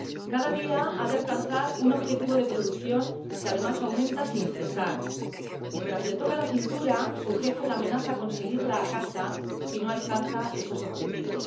Cada día ha de alcanzar un objetivo de producción que, además, aumenta sin cesar. Mientras le toca la cintura, su jefe la amenaza con seguirla a casa si no alcanza esos objetivos.